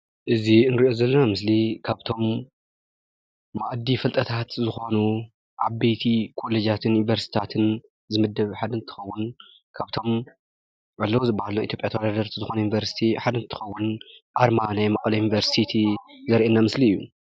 እዚ ንሪኦ ዘለና ምስሊ ካብቶም መኣዲ ፍልጠታት ዝኾኑ ዓበይቲ ኮለጃትን ዩኒቨርስታትን ዝምደብ ሓደ እንትኸውን ካብቶም ኣለዉ ዝበሃሉ ናይ ኢትዮጵያ ተወዳደርቲ ዝኾኑ ዩኒቨርሲቲ ሓደ እንትኸውን ኣርማ ናይ መቐለ ዩኒቨርሲቲ ዘርእየና ምስሊ እዩ፡፡